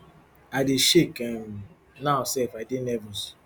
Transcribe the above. i dey shake um now sef i dey nervous